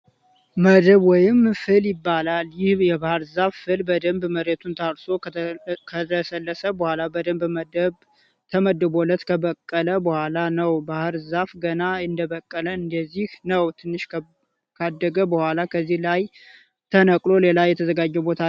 መደብ ወይም ፍል ይባላል። ይህ የባህር ዛፍ ፍል በደንብ መሬቱ ታርሶ ከለሰለሰ በኋላ በደንብ መደብ ተመድቦለት ከበቀለ በኋላ ነው። ባህር ዛፍ ገና እንደበቀለ እንደዚህ ነው። ትንሽ ካደገ በኋላ ከዚህ ላይ ተነቅሎ ሌላ የተዘጋጀለት ቦታ ላይ ይተከላል።